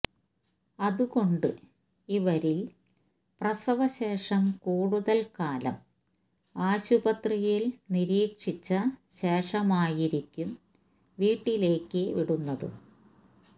അതുകൊണ്ട് ഇവരില് പ്രസവ ശേഷം കൂടുതല് കാലം ആശുപത്രിയില് നിരീക്ഷിച്ച ശേഷമായിരിക്കും വീട്ടിലേക്ക് വിടുന്നതും